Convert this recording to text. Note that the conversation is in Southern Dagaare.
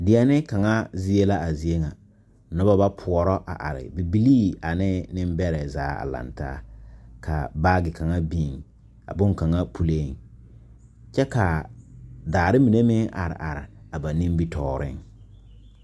Deɛne kaŋ zie la a zie ŋa noba ba poɔrɔ a are bibilii ane nembɛrɛ zaa a laŋ taa ka baage kaŋa biŋ a bonkaŋa puliŋ kyɛ ka daare mine meŋ are are a ba nimitɔɔreŋ.